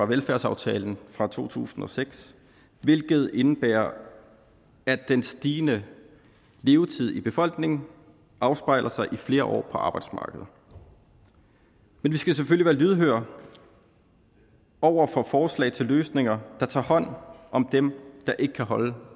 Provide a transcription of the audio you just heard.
velfærdsaftalen fra to tusind og seks hvilket indebærer at den stigende levetid i befolkningen afspejler sig i flere år på arbejdsmarkedet men vi skal selvfølgelig være lydhøre over for forslag til løsninger der tager hånd om dem der ikke kan holde